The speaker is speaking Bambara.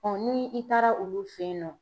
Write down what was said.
ni i taara olu fe yen nɔ